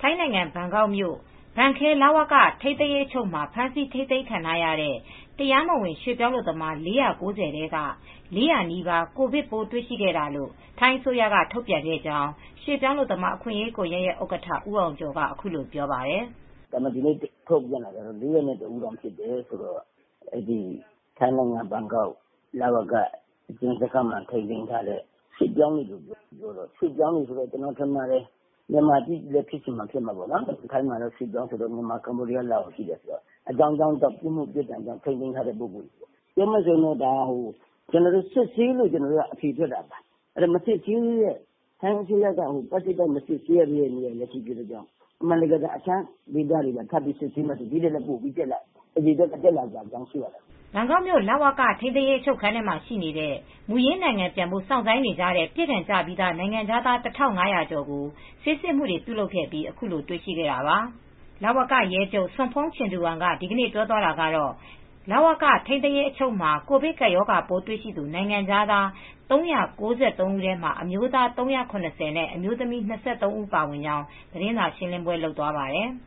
ထိုင်းနိုင်ငံ၊ ဘန်ကောက်မြို့၊ ဘန်းခဲ လဝက ထိန်းသိမ်းရေးအချုပ်မှာ ဖမ်းဆီးထိန်းသိမ်းခံထားရတဲ့ တရားမဝင်ရွှေ့ပြောင်းအလုပ်သမား ၄၉၀ ထဲက ၄၀၀ နီးပါး ကိုဗစ်ပိုးတွေ့ရှိခဲ့တာလို့ ထိုင်းအစိုးရက ထုတ်ပြန်ခဲ့ကြောင်း ရွှေ့ပြောင်းအလုပ်သမားအခွင့်ရေးကွန်ယက်ရဲ့ ဥက္ကဋ္ဌ ဦးအောင်ကျော်က အခုလိုပြောပါတယ်။ "ဒီနေ့ ထုတ်ပြန်ချက်အရ ၄၀၁ ဦးဖြစ်တယ်။ ထိုင်းနိုင်ငံ ဘန်ကောက်အကျဉ်းစခန်းမှာ ထိန်းသိမ်းထားတဲ့ ရွှေ့ပြောင်းအလုပ်သမားတွေဖြစ်တယ်။ ကျနော်ထင်တယ်။ မြန်မာချည်းပဲ ဖြစ်ချင်မှဖြစ်မယ်။ ထိုင်းမှာက ရွှေ့ပြောင်းအလုပ်သမားက မြန်မာ၊ လာအိုဝ်၊ ကမ္ဘောဒီးယားဆိုပြီး ရှိတယ်။ အကြောင်းကြောင်းကြောင့်ပြစ်မှု ကျူးလွန်ပြီး ထိန်းသိမ်းထားသူတွေပါ။ ဒါကစစ်ဆေးလို့ အတည်ပြုနိုင်တာပါ။ တခြားဒေသတွေမှာပါ စစ်ဆေးမယ်ဆိုရင် ဒီထက်လည်း အရေအတွက်ပိုတွက်လာနိုင်ပါတယ်။" ဘန်ကောက်မြို့ လဝက ထိန်းသိမ်းရေးအချုပ်ခန်းမှာ ရှိနေတဲ့ မူရင်းနိုင်ငံပြန်ဖို့ စောင်ဆိုင်းနေကြတဲ့ ပြစ်ဒဏ်ကျပြီးသား နိုင်ငံခြားသား ၁,၅၀၀ ကျော်ကို ဆေးစစ်မှုတွေပြုလုပ်ခဲ့ပြီး ခုလို တွေရှိခဲ့တာပါ။ လဝက ရဲချုပ် Pol Lt Gen Sompong Chingduang က ဒီနေ့ ပြောသွားတာကတော့ လဝက ထိန်းသိမ်းရေးအချုပ်မှာ ကိုဗစ်ကပ် ပိုးတွေ့ နိုင်ငံခြားသား ၃၉၃ ဦးထဲမှာ အမျိုးသား ၃၇၀ နဲ့အမျိုးသမီး ၂၃ ဦးလို့ပါဝင်ကြောင်း သတင်းစာရှင်းလင်းပွဲလုပ်သွားပါတယ်။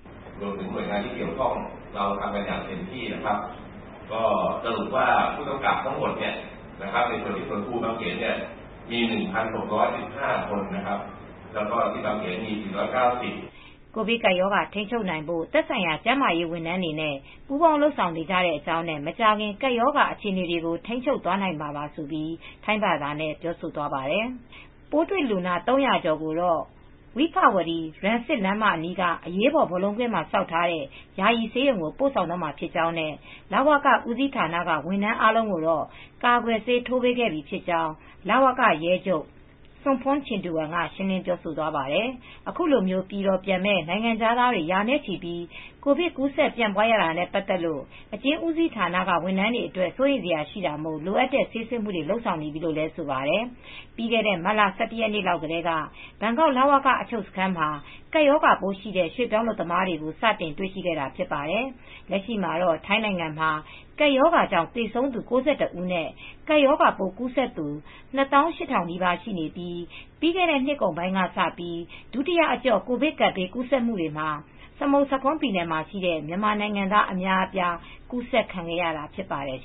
"ကိုဗစ်ကပ်ရောဂါထိန်းချုပ်နိုင်ဖို့ သက်ဆိုင်ရာ ကျန်းမာရေးဝန်ထမ်းတွေနဲ့ ပူးပေါင်းလုပ်ဆောင်နေတဲ့အကြောင်းနဲ့ မကြာခင်ကပ်ရောဂါအခြေအနေတွေကို ထိန်းချုပ်နိုင်မှာပါ။" - လို့ ထိုင်းဘာသာနဲ့ ပြောဆိုသွားပါတယ်။ ပိုးတွေ့လူနာ ၃၀၀ ကျော်ကိုတော့ vibhavadi rangsit လမ်းမအနီးက အရေးပေါ် ဘော်လုံးကွင်းမှာ ဆောက်ထားတဲ့ ယာယီ ဆေးရုံကို ပို့ဆောင်တော့မှာ ဖြစ်ကြောင်းနဲ့ လဝက ဦးစီး ဌာနက ဝန်ထမ်းအားလုံးကိုတော့ ကာကွယ်ဆေးထိုးပေးခဲ့ပြီး ဖြစ်ကြောင်း လဝက ရဲချုပ် Pol Lt Gen Sompong Chingduang က ရှင်းလင်းပြောဆိုသွားပါတယ်။ အခုလို ပြည်တော်ပြန်မယ့် နိုင်ငံခြားသားတွေ ရာနဲ့ချီ ကိုဗစ် ကူးစက်ပြန့်ပွားရတာနဲ့ပတ်သက်ပြီး အကျဉ်းဦးစီးဌာနတွေ ဝန်ထမ်းတွေအတွက် စိုးရိမ်စရာရှိတာမို့ လိုအပ်တဲ့ ဆေးစစ်မှုတွေ လုပ်ဆောင်နေပြီလို့လည်းဆိုပါတယ်။ ပြီးခဲ့တဲ့ မတ်လ ၁၁ ရက်လောက်ကတည်းက ဘန်ကောက်က လဝက အချုပ်စခန်းမှာ ကပ်ရောဂါပိုးရှိတဲ့ ရွှေ့ပြောင်းအလုပ်သမားတွေကို စတင်တွေ့ရှိခဲ့တာဖြစ်ပါတယ်။ လက်ရှိမှာတော့ ထိုင်းနိုင်ငံမှာ ကပ်ရောဂါကြောင်း သေဆုံးသူ ၉၁ ဦးနဲ့ ကပ်ရောဂါပိုးကူးစက်သူ ၂၇,၈၇၆ ရှိနေပြီး ပြီးခဲ့တဲ့နှစ်ကုန်ပိုင်းကစပြီး ဒုတိယအကျော့ ကိုဗစ်ကပ်ဘေးကူးစက်မှုမှာ စမုဆာခွန်းပြည်နယ်မှာ ရှိတဲ့ မြန်မာနိုင်ငံသားအများအပြား ကူးစက်ခံခဲ့ရတာဖြစ်ပါတယ်